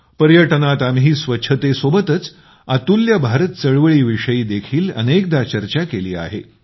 पर्यटनात आम्ही स्वच्छतेसोबतच अतुल्य भारत चळवळीविषयी देखील अनेकदा चर्चा केली आहे